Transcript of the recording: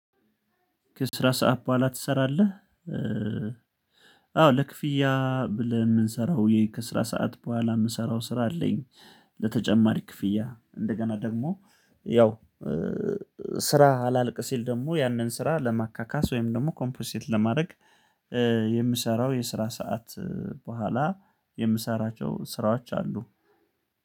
ከስራ ሰዓት በኋላ ትሰራለ? አዎ ለክፍያ ብለን የምንሰራው የከስራ ሰዓት በኋላ የምሰራው ስራ አለኝ ለተጨማሪ ክፍያ እንደገና ደግሞ ያው ስራ አላልቅ ሲል ደግሞ ያንን ስራ ለማካካስ ወይም ደግሞ ኮምፖንሴት ለማድረግ የምሰራው የስራ ሰዓት በኋላ የምሰራቸው ስራዎች አሉ